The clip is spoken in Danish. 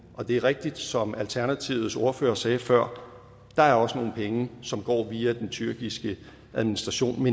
og det er rigtigt som alternativets ordfører sagde før der er også nogle penge som går via den tyrkiske administration